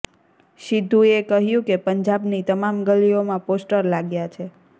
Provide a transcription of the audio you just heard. સિદ્ધૂએ કહ્યું કે પંજાબની તમામ ગલીઓમાં પોસ્ટર લાગ્યા છે